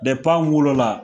anw wolo la!